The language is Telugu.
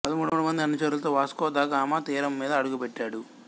పదమూడు మంది అనుచరులతో వాస్కో ద గామా తీరం మీద అడుగుపెట్టాడు